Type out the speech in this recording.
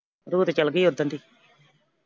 ਜੋਤ ਚਲੇਗੀ ਓਦਣ ਦੀ।